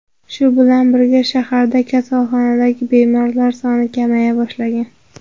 Shu bilan birga, shaharda kasalxonadagi bemorlar soni kamaya boshlagan.